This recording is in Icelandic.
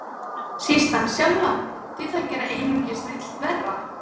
Síst hann sjálfan, því það gerði einungis illt verra.